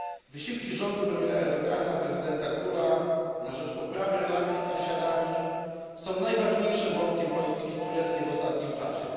Wysiłki rządu premiera Erdogana i prezydenta Gula na rzecz poprawy relacji z sąsiadami są najważniejszym wątkiem polityki tureckiej w ostatnim czasie.